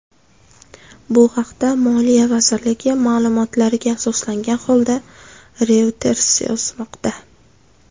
Bu haqda moliya vazirligi ma’lumotlariga asoslangan holda Reuters yozmoqda .